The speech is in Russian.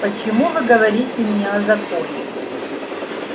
почему вы говорите мне о законе